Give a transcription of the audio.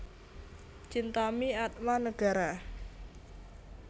Chintami Atmanegara